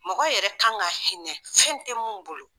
Mɔgɔ yɛrɛ kan ka hinɛ fɛn tɛ min bolo